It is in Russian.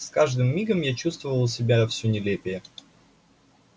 с каждым мигом я чувствовал себя все нелепее